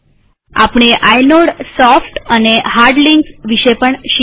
આપણે આઇનોડસોફ્ટ અને hard links વિશે પણ શીખ્યા